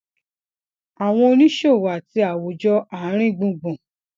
àwọn oníṣòwò àti àwùjọ àárín gbùngbùn